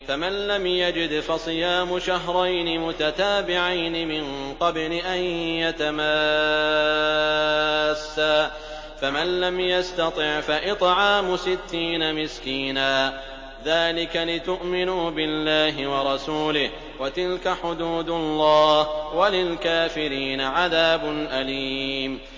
فَمَن لَّمْ يَجِدْ فَصِيَامُ شَهْرَيْنِ مُتَتَابِعَيْنِ مِن قَبْلِ أَن يَتَمَاسَّا ۖ فَمَن لَّمْ يَسْتَطِعْ فَإِطْعَامُ سِتِّينَ مِسْكِينًا ۚ ذَٰلِكَ لِتُؤْمِنُوا بِاللَّهِ وَرَسُولِهِ ۚ وَتِلْكَ حُدُودُ اللَّهِ ۗ وَلِلْكَافِرِينَ عَذَابٌ أَلِيمٌ